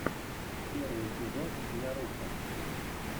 первый эпизод няруко